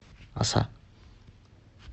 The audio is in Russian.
оса